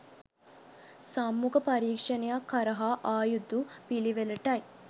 සම්මුඛ පරීක්ෂණයක් හරහා ආ යුතු පිළිවෙළටයි